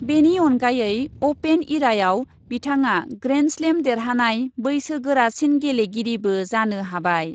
बेनि अनगायै अपेन इराआव बिथाङा ग्रेन्डस्लेम देरहानाय बैसो गोरासिन गेलेगिरिबो जानो हाबाय ।